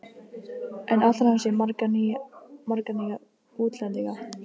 En ætlar hann sér marga nýja útlendinga?